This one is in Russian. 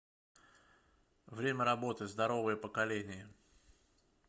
время работы здоровое поколение